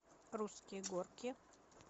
русские горки